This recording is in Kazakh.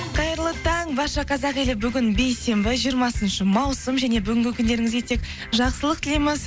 қайырлы таң барша қазақ елі бүгін бейсенбі жиырмасыншы маусым және бүгінгі күндеріңізге тек жақсылық тілейміз